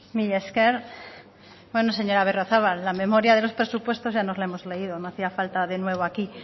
mila esker bueno señora berriozabal la memoria de los presupuestos ya nos la hemos leído no hacía falta de nuevo aquí